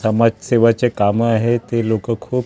समाजसेवाचे कामं आहेत ते लोकं खूप --